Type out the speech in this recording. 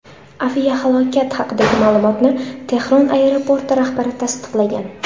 Aviahalokat haqidagi ma’lumotni Tehron aeroporti rahbari tasdiqlagan.